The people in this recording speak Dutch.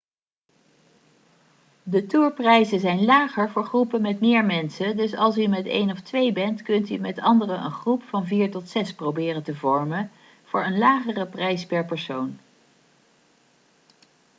de tourprijzen zijn lager voor groepen met meer mensen dus als u met één of twee bent kunt u met anderen een groep van vier tot zes proberen te vormen voor een lagere prijs per persoon